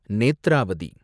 Netravati